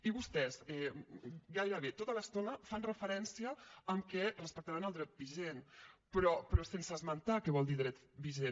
i vostès gairebé tota l’estona fan referència que respectaran el dret vigent però sense esmentar què vol dir dret vigent